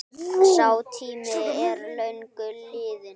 Sá tími er löngu liðinn.